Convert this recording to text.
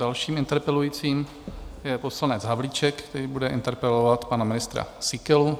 Dalším interpelujícím je poslanec Havlíček, který bude interpelovat pana ministra Síkelu.